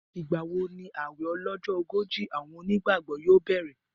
Ìgbà wo ni ààwẹ̀ ọlọ́jọ́ ogójì àwọn onígbàgbọ́ yóò bẹ̀rẹ̀?